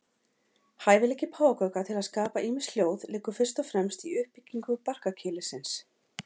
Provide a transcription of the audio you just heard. Hæfileiki páfagauka til að skapa ýmis hljóð liggur fyrst og fremst í uppbyggingu barkakýlisins.